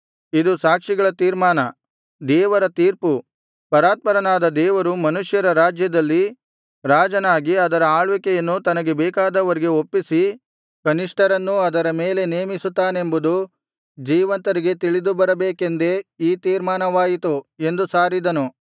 ಇದು ಸಾಕ್ಷಿಗಳ ತೀರ್ಮಾನ ದೇವರ ತೀರ್ಪು ಪರಾತ್ಪರನಾದ ದೇವರು ಮನುಷ್ಯರ ರಾಜ್ಯದಲ್ಲಿ ರಾಜನಾಗಿ ಅದರ ಆಳ್ವಿಕೆಯನ್ನು ತನಗೆ ಬೇಕಾದವರಿಗೆ ಒಪ್ಪಿಸಿ ಕನಿಷ್ಠರನ್ನೂ ಅದರ ಮೇಲೆ ನೇಮಿಸುತ್ತಾನೆಂಬುದು ಜೀವಂತರಿಗೆ ತಿಳಿದುಬರಬೇಕೆಂದೇ ಈ ತೀರ್ಮಾನವಾಯಿತು ಎಂದು ಸಾರಿದನು